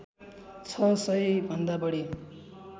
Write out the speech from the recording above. छ सय भन्दा बढी